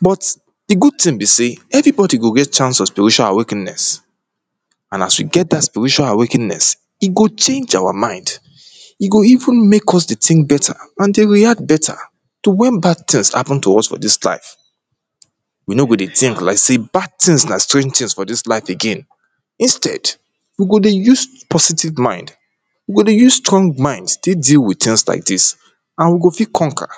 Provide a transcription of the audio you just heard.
but di good tin be say, eveybodi go get chance of spiritual awakeness and as we get dat spiritual awakeness, e go change our mind, e go even make us dey think beta and dey react beta to wen bad things hapen to us for dis life we no go dey thing like say bad things na strange things for dis life again. instead, we go dey use positive mind we go dey use strong mind take deal with things like dis and we go fit conquer